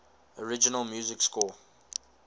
original music score